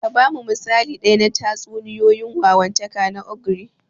Ka ba mu misali ɗaya na tatsuniyoyin wawantaka na ogre.